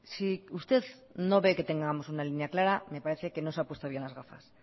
si usted no ve que tengamos una línea clara me parece que no se ha puesto bien las gafas